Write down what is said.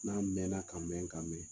N'a mɛn na ka mɛn ka mɛn